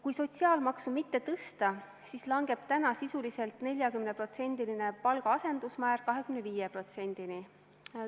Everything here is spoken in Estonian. Kui sotsiaalmaksu mitte tõsta, siis langeb täna sisuliselt 40%-line palga asendusmäär 25%-le.